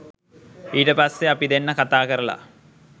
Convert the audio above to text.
ඊට පස්සේ අපි දෙන්න කතාකරලා